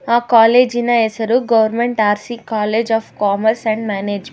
ಆ ಕಾಲೇಜಿನ ಹೆಸರು government R C college of commerce and manage --